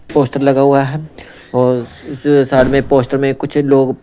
poster लगा हुआ है और उस साइड में पोस्टर में कुछ लोग--